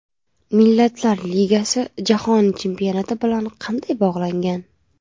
Millatlar Ligasi Jahon Chempionati bilan qanday bog‘langan?